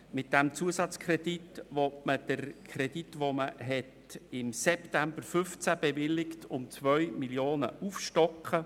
Mit diesem Zusatzkredit will man den Kredit, welcher im September 2015 bewilligt wurde, um 2 Mio. Franken aufstocken.